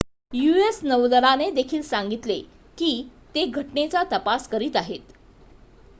US नौदलाने देखील सांगितले की ते घटनेचा तपास करीत आहेत